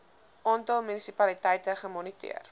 aantal munisipaliteite gemoniteer